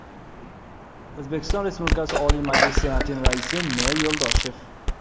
O‘zbekiston Respublikasi Oliy Majlisi Senatining Raisi N. Yo‘ldoshev.